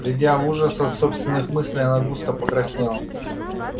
придя в ужас от собственных мыслей она густо покраснела